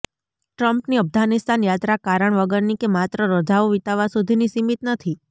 ટ્રમ્પની અફઘાનિસ્તાન યાત્રા કારણ વગરની કે માત્ર રજાઓ વિતાવવા સુધીની સીમિત નથી